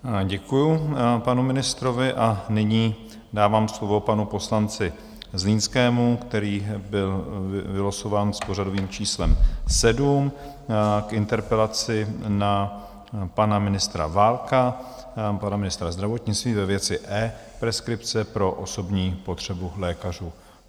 Děkuju panu ministrovi a nyní dávám slovo panu poslanci Zlínskému, který byl vylosován s pořadovým číslem 7, k interpelaci na pana ministra Válka, pana ministra zdravotnictví, ve věci e-preskripce pro osobní potřebu lékařů.